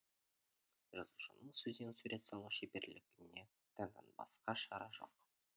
жазушының сөзден сурет салу шеберлігіне таңданбасқа шара жоқ